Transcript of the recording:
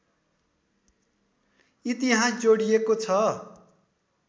इतिहास जोडिएको छ